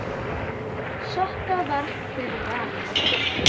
Sokka varð fyrir valinu.